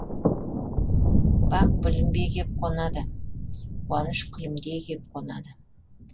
бақ білінбей кеп қонады қуаныш күлімдей кеп қонады